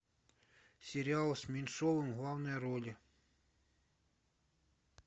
сериал с меньшовым в главной роли